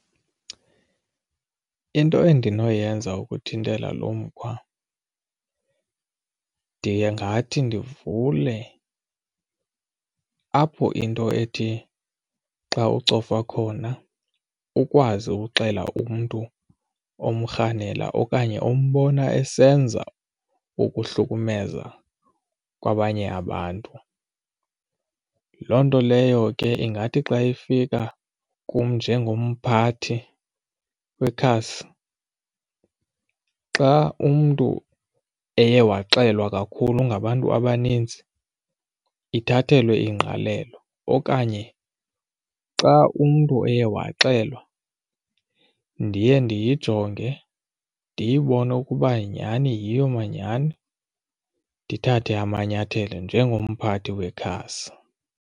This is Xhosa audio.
Into endinoyenza ukuthintela lo mkhwa, ndingathi ndivule apho into ethi xa ucofa khona ukwazi ukuxela umntu omrhanela okanye umbona esenza ukuhlukumeza kwabanye abantu. Loo nto leyo ke ingathi xa ifika kum njengomphathi wekhasi xa umntu eye waxelelwa kakhulu ngabantu abaninzi ithathelwe ingqalelo okanye xa umntu eye waxelwa ndiye ndiyijonge ndiyibone ukuba nyhani yiyo manyhani ndithathe amanyathelo njengomphathi wekhasi.